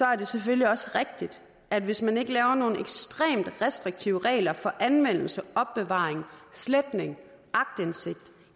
er det selvfølgelig også rigtigt at hvis man ikke laver nogle ekstremt restriktive regler for anvendelse opbevaring sletning